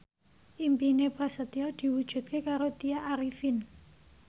impine Prasetyo diwujudke karo Tya Arifin